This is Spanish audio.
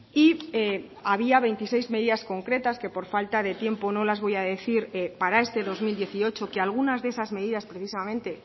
y había veintiséis medidas concretas que por falta de tiempo no las voy a decir para este dos mil dieciocho que algunas de esas medidas precisamente